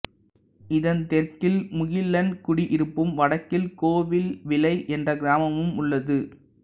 இதன் தெற்கில் முகிலன்குடியிருப்பும் வடக்கில் கோவில்விளை என்ற கிராமமும் உள்ளது